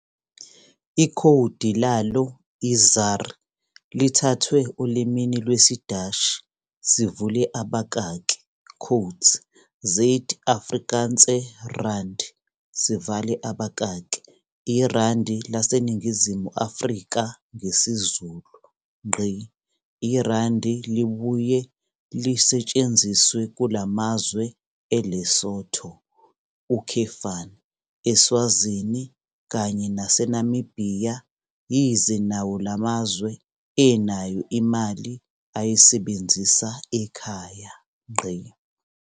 Ikhowdi lalo i-ZAR lithathwe olimini lwesiDashi, "Zuid-Afrikaanse Rand", iRandi laseNingizimu Afrika ngesiZulu. IRandi libuye lisbthsnziswe kulamazwe eLesotho, eSwazini kanye nase Namibhiya yize nwo lamzawe enayo imali ayisebenzisa ekhaya.